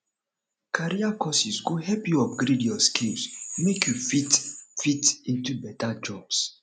career courses go help you upgrade your skills make you fit fit into beta jobs